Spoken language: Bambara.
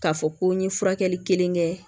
K'a fɔ ko n ye furakɛli kelen kɛ